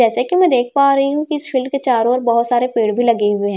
जैसे की में देख पा रही हूं कि इस फील्ड के चारों ओर बहोत सारे पेड़ भी लगे हुए हैं।